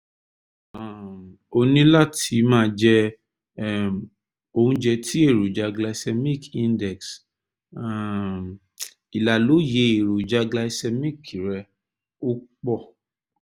um o ní láti máa jẹ um oúnjẹ tí èròjà glycemic index [c] um ìlàlóye èròjà glycemic rẹ ò pọ̀